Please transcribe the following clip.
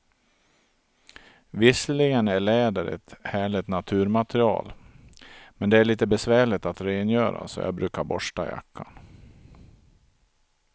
Visserligen är läder ett härligt naturmaterial, men det är lite besvärligt att rengöra, så jag brukar borsta jackan.